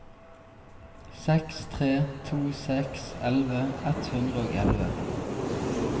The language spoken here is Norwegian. seks tre to seks elleve ett hundre og elleve